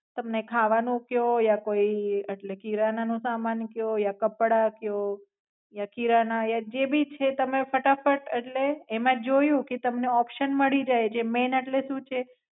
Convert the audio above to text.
તમને ખાવાનું કયો યા કોઈ એટલે કિરાના નો સામાન કયો યા કપડાં કયો યા કિરાના યા જે ભી છે તમે ફટાફટ એટલે એમાં જોયું કે તમને ઓપ્સન મળી જાય એટલે જે મૈન એટલે શું છે